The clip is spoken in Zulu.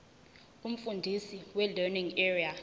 umfundisi welearning area